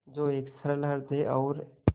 जो एक सरल हृदय और